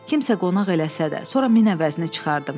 Kimsə qonaq eləsə də, sonra min əvəzini çıxardım.